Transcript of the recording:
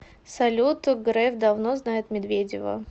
салют греф давно знает медведева